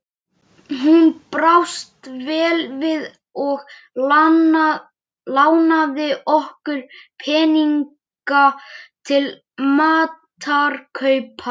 Hún brást vel við og lánaði okkur peninga til matarkaupa.